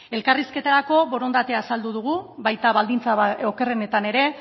elkarrizketarako borondatea azaldu dugu baita baldintza okerrenetan ere